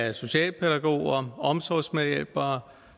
at socialpædagoger omsorgsmedhjælpere